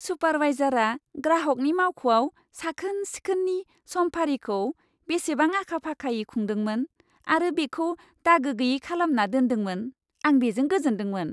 सुपारवाइजारआ ग्राहकनि मावख'आव साखोन सिखोननि समफारिखौ बेसेबां आखा फाखायै खुंदोंमोन आरो बेखौ दागो गैयै खालामना दोनदोंमोन, आं बेजों गोजोनदोंमोन।